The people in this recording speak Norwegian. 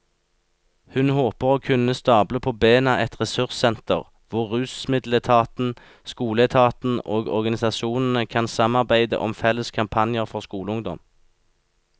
Hun håper å kunne stable på bena et ressurssenter hvor rusmiddeletaten, skoleetaten og organisasjonene kan samarbeide om felles kampanjer for skoleungdom.